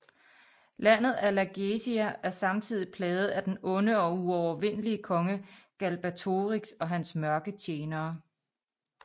Landet Alagaësia er samtidig plaget af den onde og uovervindelige konge Galbatorix og hans mørke tjenere